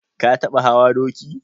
Ka taɓa hawa doki?